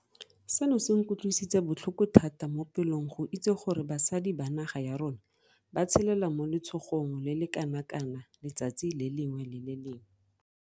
Seno se nkutlwisitse botlhoko thata mo pelong go itse gore basadi ba naga ya rona ba tshelela mo letshogong le le kanakana letsatsi le lengwe le le lengwe.